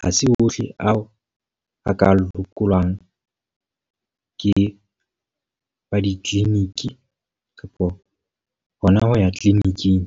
ha se ohle ao a ka phekolwang ke wa di-clinic kapa hona ho ya clinic-ing.